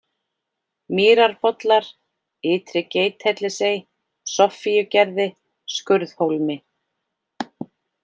Mýrarbollar, Ytri-Geithellisey, Soffíugerði, Skurðhólmi